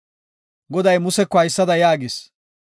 Goday Museko haysada yaagis;